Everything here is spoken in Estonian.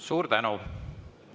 Suur tänu!